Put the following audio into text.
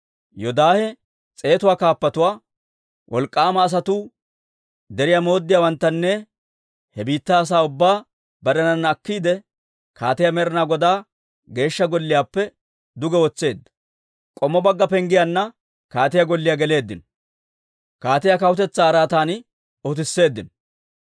Yoodaahe s'eetuwaa kaappatuwaa, wolk'k'aama asatuu, deriyaa mooddiyaawanttanne he biittaa asaa ubbaa barenana akkiide, kaatiyaa Med'inaa Godaa Geeshsha Golliyaappe duge wotseedda. K'ommo bagga penggiyaanna kaatiyaa golliyaa geleeddino; kaatiyaa kawutetsaa araatan utisseeddino.